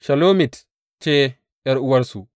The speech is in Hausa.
Shelomit ce ’yar’uwarsu.